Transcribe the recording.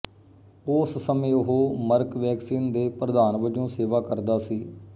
ਉਸ ਸਮੇਂ ਉਹ ਮਰਕ ਵੈਕਸੀਨ ਦੇ ਪ੍ਰਧਾਨ ਵਜੋਂ ਸੇਵਾ ਕਰਦਾ ਸੀ